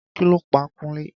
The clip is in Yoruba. Kí ló pa Kunle?